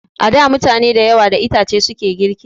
A da mutane da yawa da itace suke girki